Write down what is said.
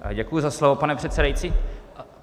Děkuji za slovo, pane předsedající.